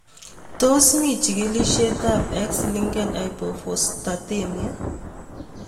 Tos mii chigilishet ab X linked hypophosphatemia?